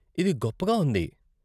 ఇది గొప్పగా ఉంది!